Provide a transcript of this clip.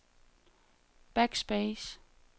backspace